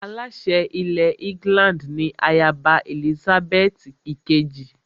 Aláṣẹ ilẹ̀ England ni ayaba Èlísábẹ́ẹ́tì ìkejì